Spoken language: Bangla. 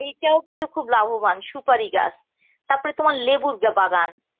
এইটাও কিন্তু খুব লাভবান সুপারি গাছ তারপরে তোমার লেবুর বাগান